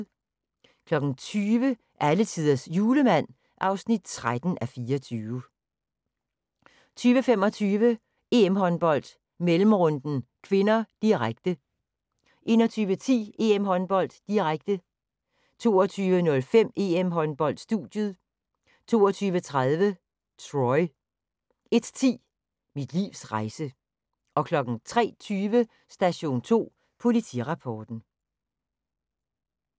20:00: Alletiders Julemand (13:24) 20:25: EM-håndbold: Mellemrunden (k), direkte 21:10: EM-håndbold:, direkte 22:05: EM-håndbold: Studiet 22:30: Troy 01:10: Mit livs rejse 03:20: Station 2 Politirapporten